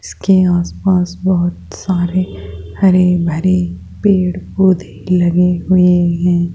इसके आसपास बहोत सारे हरे भरे पेड़ पौधे लगे हुए हैं।